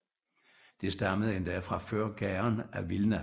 Det stammede endda fra før Gaon af Vilna